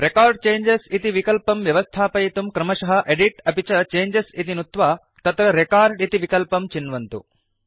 record changes इति विकल्पं व्यवस्थापयितुं क्रमशः एदित् अपि च चेंजेस् इति नुत्वा तत्र रेकॉर्ड इति विकल्पं चिन्वन्तु